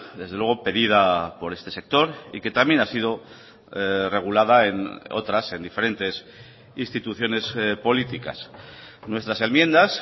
desde luego pedida por este sector y que también ha sido regulada en otras en diferentes instituciones políticas nuestras enmiendas